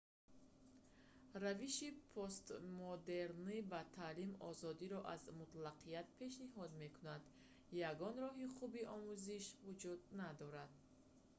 равиши постмодернӣ ба таълим озодиро аз мутлақият пешниҳод мекунад ягон роҳи хуби омӯзиш вуҷуд надорад